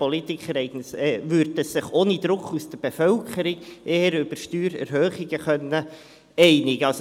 Politiker können sich ohne Druck aus der Bevölkerung eher über Steuererhöhungen einigen.